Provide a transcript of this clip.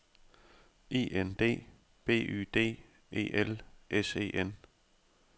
I N D B Y D E L S E N